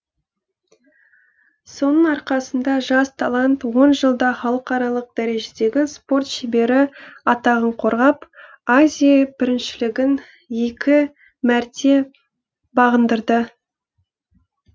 соның арқасында жас талант он жылда халықаралық дәрежедегі спорт шебері атағын қорғап азия біріншілігін екі мәрте бағындырды